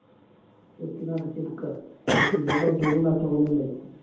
അടച്ചിടിക്ക പിന്നെ Luggage ഒന്നും അത്രക്കൊന്നും ഇല്ലല്ലോ